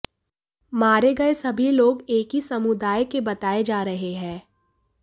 मारे गए सभी लोग एक ही समुदाय के बताए जा रहे हैं